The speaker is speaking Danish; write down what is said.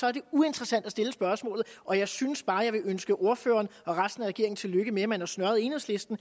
er det uinteressant at stille spørgsmålet og jeg synes bare jeg vil ønske ordføreren og resten af regeringen tillykke med at man har snøret enhedslisten